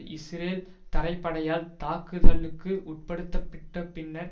Israel தரைப்படையால் தாக்குதலுக்கு உட்படுத்தப்பட்ட பின்னர்